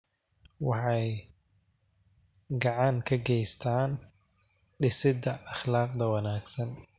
Waxay gacan ka geystaan ??dhisidda akhlaaqda wanaagsan.